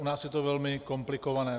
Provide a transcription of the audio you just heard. U nás je to velmi komplikované.